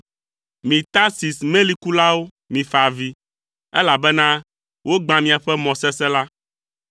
Mi Tarsis melikulawo mifa avi, elabena wogbã miaƒe mɔ sesẽ la!